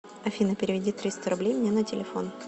афина переведи триста рублей мне на телефон